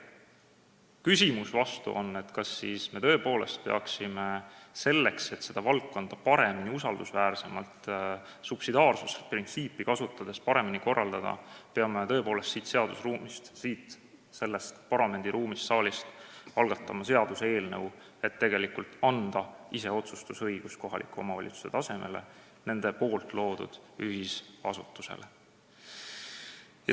Vastuküsimus on, kas me siis tõepoolest selleks, et seda valdkonda paremini, usaldusväärsemalt ja subsidiaarsusprintsiipi kasutades korraldada, peame siin, selles parlamendisaalis algatama seaduseelnõu, et anda iseotsustusõigus kohaliku omavalitsuse tasemele, nende loodud ühisasutusele.